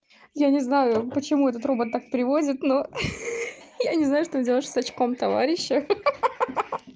я не знаю почему этот робот так привозит но хе-хе я не знаю что делать с сачком товарища ха-ха